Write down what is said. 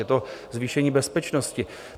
Je to zvýšení bezpečnosti.